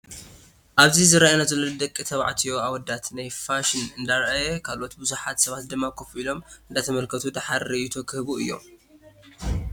ኣብዚ ዝረኣየና ዘሎ ናይ ደቂ ተባዕትዮ ኣወዳት ናይ ፋይን እንደረኣየ ካሎኦት ብዙሓት ሰባት ድማ ኮፍ እሎም እንዳተመልከቱ ደሓር ሪኢቶ ክህቡ እዮም።